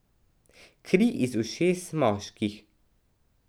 Kri iz ušes moških.